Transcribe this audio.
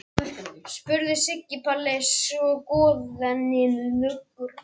spurði Siggi Palli þegar skoðuninni lauk.